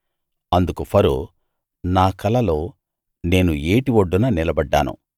అందుకు ఫరో నా కలలో నేను ఏటి ఒడ్డున నిలబడ్డాను